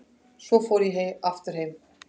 Svo fór ég aftur heim.